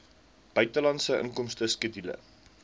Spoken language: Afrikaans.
buitelandse inkomste skedule